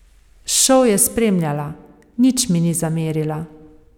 Šov je spremljala, nič mi ni zamerila.